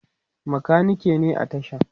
makaniki ne a tashan